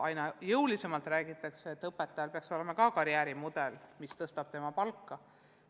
Aina jõulisemalt räägitakse, et õpetajal peaks ka olema karjäärimudel, mis võimaldab jõuda kõrgema palgani.